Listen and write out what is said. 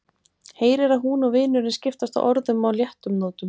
Heyrir að hún og vinurinn skiptast á orðum á léttum nótum.